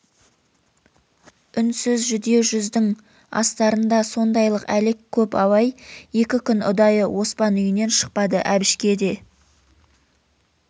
үнсіз жүдеу жүздің астарында сондайлық әлек көп абай екі күн ұдайы оспан үйінен шықпады әбішке де